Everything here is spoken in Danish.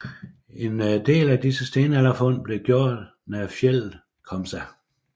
En del af disse stenalderfund blev gjort nær fjeldet Komsa